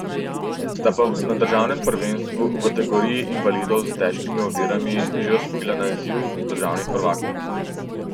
Sta pa na državnem prvenstvu v kategoriji invalidov s težkimi ovirami že osvojila naziv državnih prvakov.